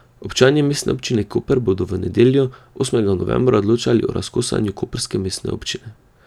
Občani Mestne občine Koper bodo v nedeljo, osmega novembra, odločali o razkosanju koprske mestne občine.